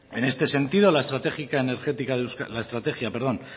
en este sentido la estrategia